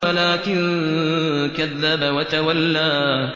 وَلَٰكِن كَذَّبَ وَتَوَلَّىٰ